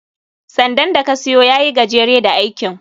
sandan da ka siyo ya yi gajere da aikin